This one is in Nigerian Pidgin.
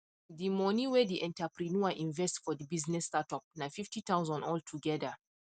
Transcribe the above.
the money whey the enterpreneur invest for the business startup na fifty thousand all together